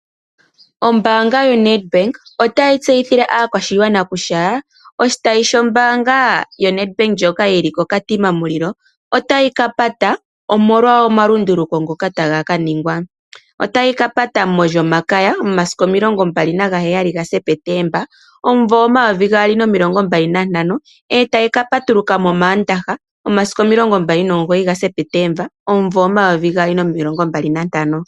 Ombaanga yoNedbank otayi tseyithile aakwashigwana kutya oshitayi shombaanga yoNedbank ndjoka yili kOkatima Mulilo otayi ka pata omolwa omalunduluko ngoka taga kaningwa . Otayi ka pata molyomakaya momasiku 20 Septemba 2025, etayi ka patuluko mOmaandaha momasiku 29 Septemba 2025.